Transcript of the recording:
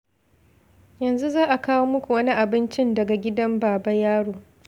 Yanzu za a kawo muku wani abincin daga gidan Baba Yaro.